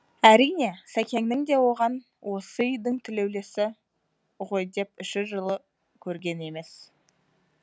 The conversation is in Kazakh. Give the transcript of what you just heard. әрине сәкеңнің де оған осы үйдің тілеулесі ғой деп іші жылып көрген емес